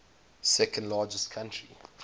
second largest country